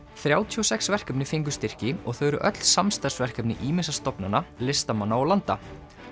þrjátíu og sex verkefni fengu styrki og þau eru öll samstarfsverkefni ýmissa stofnana listamanna og landa